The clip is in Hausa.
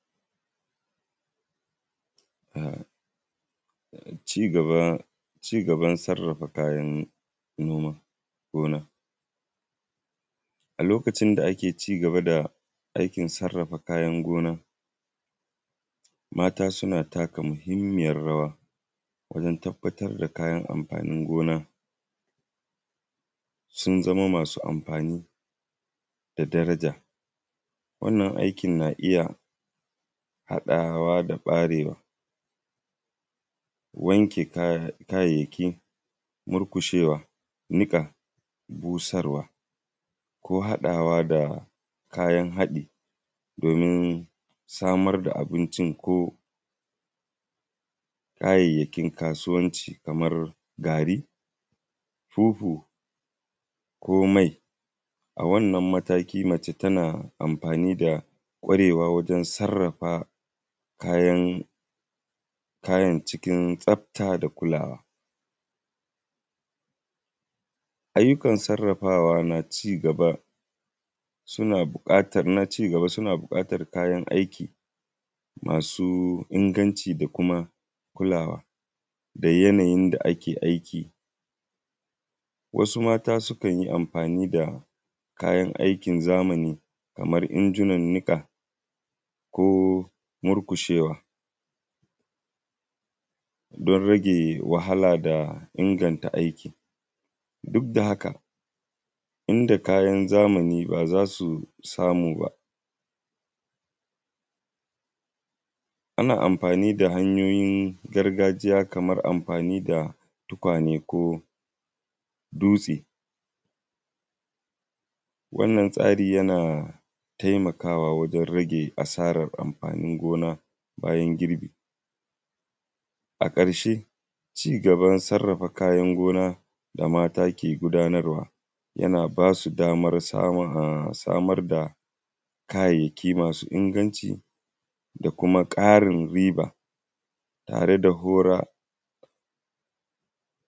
Ci gaban sarrafa kayan gona, a lokacin da ake ci gaban sarrafa kayan gona mata suna mba da muhimmiyar rawa wajen tabbatar da kayan amfani gona sun zama suna da daraja. A wannan aikin na iya haɗawa da ɓarewa wanke kayayyaki murƙushewa niƙa busarwa ko haɗawa da kayan haɗin domin samar da abincin ko kayayyakin kasuwanci kamar gari, fufu ko mai. A wannan mataki mace tana amfani da ƙwarewa wajen sarrafa kayan cikin tsafta da kulawa. Ayyukan sarrafawa na ci gaba suna buƙatar kayan aiki masu inganci da kulawa da yanayin dake aiki, wasu mata sukan yi amfani da kayan aiki zamani kamar injinan niƙa ko murƙushewa don rage wahala da inganta aiki. Duk da haka, kayan zamani ba za su samu ba. Ana mfani da hanyoyin gargajiya kamar amfani da tukwane dutse, wannan tsari yana taimakawa wajen rage asarar amfani gona bayan girbi. A ƙarshe ci gaban sarrafa kayan gona da mata ke gudanarwa yana ba su damar samar da kayayyaki masu inganci da kuma karin riba yare da hora.